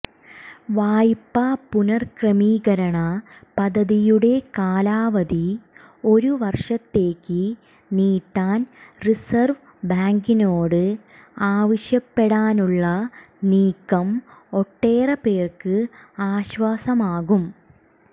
വായ്പാ പുനഃക്രമീകരണ പദ്ധതിയുടെ കാലാവധി ഒരുവർഷത്തേക്ക് നീട്ടാൻ റിസർവ് ബാങ്കിനോട് ആവശ്യപ്പെടാനുള്ള നീക്കം ഒട്ടേറെപ്പേർക്ക് ആശ്വാസമാകും